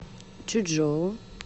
чучжоу